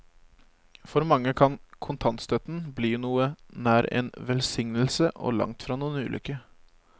For mange kan kontantstøtten bli noe nær en velsignelse og langtfra noen ulykke.